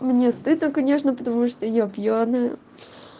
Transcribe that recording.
мне стыдно конечно потому что я пьяная